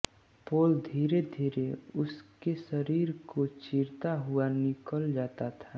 पोल धीरेधीरे उसके शरीर को चीरता हुआ निकल जाता था